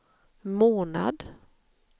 månad